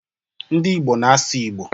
Ndị Igbo na-asụ Igbo.